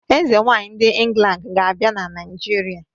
Ezenwaanyi ndi England ga-abia na naijiria.